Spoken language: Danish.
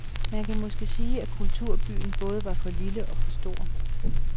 Man kan måske sige, at kulturbyen både var for lille og for stor.